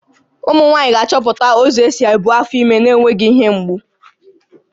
Ụmụ nwaanyị ga-achọpụta ụzọ isi ebu afọ ime na-enweghị ihe mgbu